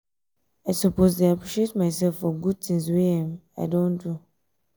i suppose dey appreciate myself for good things wey um i don do.